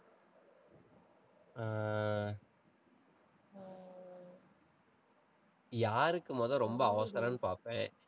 யாருக்கு முதல்ல ரொம்ப அவசரம்ன்னு பாப்பேன்